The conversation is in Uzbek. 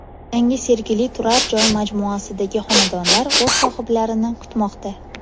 Yangi Sergeli turar joy majmuasidagi xonadonlar o‘z sohiblarini kutmoqda.